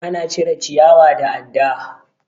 Ana cire ciyawa da adda.